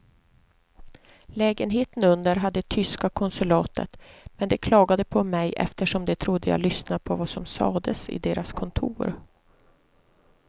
Lägenheten under hade tyska konsulatet men de klagade på mig eftersom de trodde jag lyssnade på vad som sades i deras kontor.